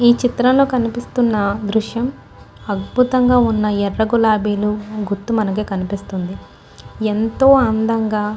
ఈ చిత్రంలో కనిపిస్తున్న దృశ్యం అద్భుతంగా ఉన్న ఎర్ర గులాబీల గుత్తు మనకు కనిపిస్తుంది ఎంతో అందంగా --